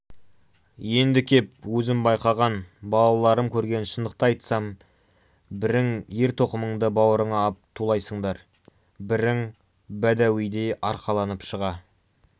енді кеп өзім байқаған балаларым көрген шындықты айтсам бірің ер-тоқымыңды баурыңа ап тулайсыңдар бірің бәдәуидей арқаланып шыға